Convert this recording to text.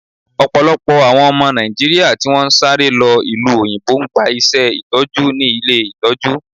Ọ̀pọ̀lọpọ̀ àwọn ọmọ Nàìjíríà tí wọn ń sáré lọ ìlú òyìnbó ń gba iṣé Ìtọ́jú ní ilé Ìtọ́jú.